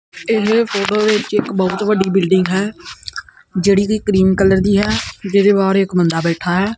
ਇਸ ਫੋਟੋ ਦੇ ਵਿੱਚ ਇੱਕ ਬਹੁਤ ਵੱਡੀ ਬਿਲਡਿੰਗ ਹੈ ਜੇਹੜੀ ਕੀ ਕਰੀਮ ਕਲਰ ਦੀ ਹੈ ਜਿਹਦੇ ਬਾਹਰ ਇੱਕ ਬੰਦਾ ਬੈਠਾ ਹੈ।